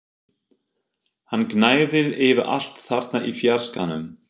Hann gnæfði yfir allt þarna í fjarskanum!